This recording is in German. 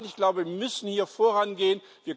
Nein, ich glaube, wir müssen hier vorangehen.